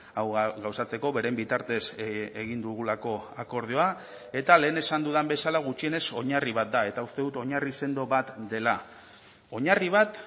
hau gauzatzeko beren bitartez egin dugulako akordioa eta lehen esan dudan bezala gutxienez oinarri bat da eta uste dut oinarri sendo bat dela oinarri bat